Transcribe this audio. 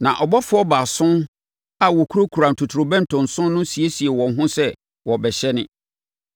Na abɔfoɔ baason a wɔkurakura ntotorobɛnto nson no siesiee wɔn ho sɛ wɔrebɛhyɛne.